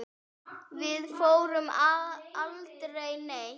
Við fórum aldrei neitt.